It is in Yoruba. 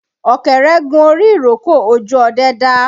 Ọ̀kẹ́rẹ́ gun orí ìrókò, ojú ọdẹ dá